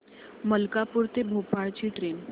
मलकापूर ते भोपाळ ची ट्रेन